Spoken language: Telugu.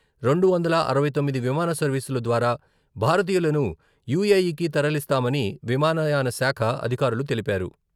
రెండు వందల అరవై తొమ్మిది విమాన సర్వీసుల ద్వారా భారతీయులను యూఏఈకి తరలిస్తామని విమానయాన శాఖ అధికారులు తెలిపారు.